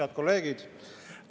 Head kolleegid!